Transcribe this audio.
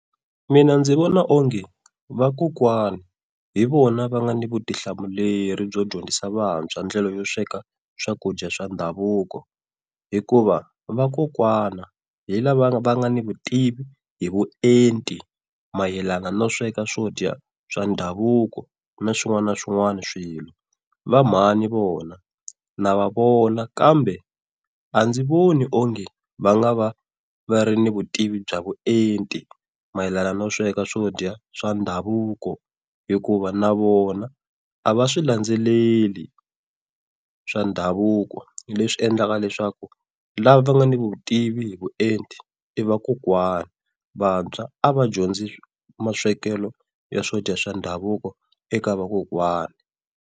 Mina ndzi vona onge vakokwani hi vona va nga na vutihlamuleri byo dyondzisa vantshwa, ndlela yo sweka swakudya swa ndhavuko. Hikuva vakokwana hi lava va nga ni vutivi hi vuenti mayelana no sweka swo dya swa ndhavuko, na swin'wana na swin'wana swilo. Va mhani vona na va vona kambe a ndzi voni onge va nga va va ri ni vutivi bya vuenti mayelana no sweka swo dya swa ndhavuko, hikuva na vona a va swi landzeleli swa ndhavuko leswi endlaka leswaku lava va nga ni vutivi hi vuenti i vakokwani. Vantshwa a va dyondzi maswekelo ya swodya swa ndhavuko eka vakokwana.